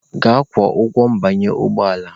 Gaa kwụọ ụgwọ ịbanye ụgbọ ala!